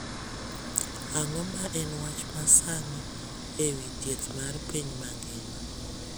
Ang'o ma en wach masani ewi thieth mar piny mangima